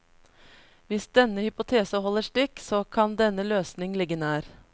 Hvis denne hypotese holder stikk, så kan denne løsning ligge nær.